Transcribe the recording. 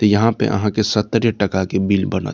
त यहाँ पे अहा के सतरे टका के बिल बनत |